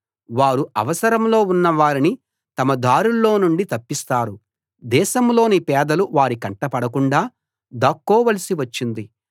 వారు అవసరంలో ఉన్న వారిని తమ దారుల్లో నుండి తప్పిస్తారు దేశంలోని పేదలు వారి కంటబడకుండా దాక్కోవలసి వచ్చింది